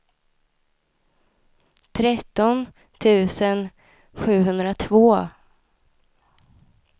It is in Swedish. tretton tusen sjuhundratvå